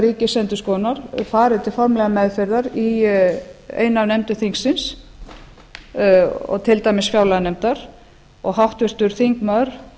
ríkisendurskoðunar fari til formlegrar meðferðar í einni af nefndum þingsins til dæmis fjárlaganefndar og háttvirtur þingmaður